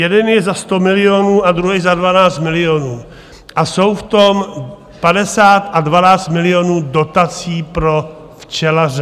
Jeden je za 100 milionů a druhý za 12 milionů a je v tom 50 a 12 milionů dotací pro včelaře.